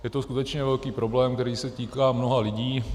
Je to skutečně velký problém, který se týká mnoha lidí.